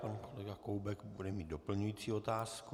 Pan kolega Koubek bude mít doplňující otázku.